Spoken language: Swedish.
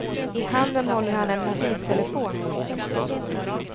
I handen håller han en mobiltelefon.